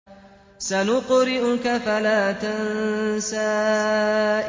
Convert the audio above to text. سَنُقْرِئُكَ فَلَا تَنسَىٰ